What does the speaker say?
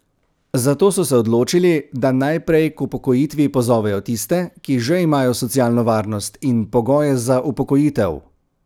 Zato so se odločili, da najprej k upokojitvi pozovejo tiste, ki že imajo socialno varnost in pogoje za upokojitev.